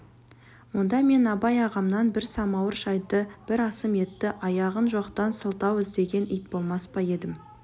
онда мен абай ағамнан бір самауыр шайды бір асым етті аяған жоқтан сылтау іздеген ит болмас па едім